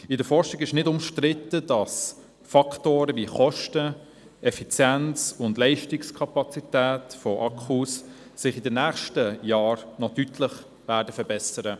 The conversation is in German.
In der Forschung wird nicht bestritten, dass sich die Faktoren Kosten, Effizienz und Leistungskapazität von Akkus in den nächsten Jahren noch deutlich verbessern werden.